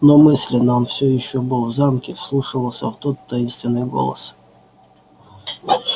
но мысленно он все ещё был в замке вслушивался в тот таинственный голос